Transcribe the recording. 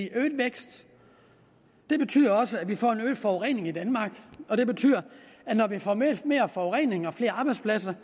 øget vækst betyder også at vi får en øget forurening i danmark og når vi får mere forurening og flere arbejdspladser